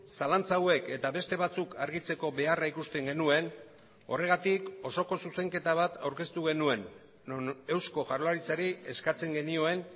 zalantza hauek eta beste batzuk argitzeko beharra ikusten genuen horregatik osoko zuzenketa bat aurkeztu genuen non eusko jaurlaritzari eskatzen genioen